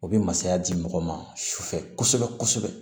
O bɛ masaya di mɔgɔ ma su fɛ kosɛbɛ kosɛbɛ